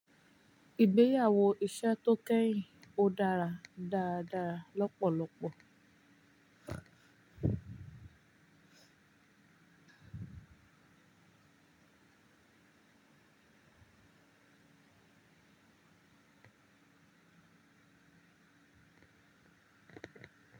Ìgbéyàwó iṣẹ́ tó kẹ́yìn ó dára dáradára lọ́pọ̀lọpọ̀.